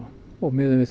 og miðum við